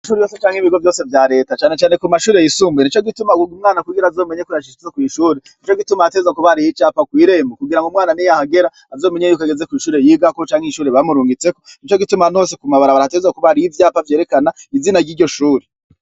Ishure ryose canke ibigo vyose vya Reta, cane cane ku mashure yisumbuye, nico gituma wumv'umwana ko yashitse kw'ishure, nico gituma hategerezwa kuba hari icapa kw'irembo, kugira umwana niyahagera azomenye yuko ageze kw'ishure yigako canke ishure bamurungisteko. Nico gituma ahantu hose ku mabarabara hategerezwa kuba hari ivyapa vyerekana izina ry'iryo shuri.